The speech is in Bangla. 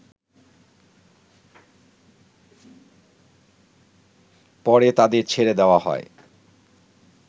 পরে তাদের ছেড়ে দেয়া হয়